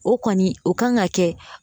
O kɔni o kan ka kɛ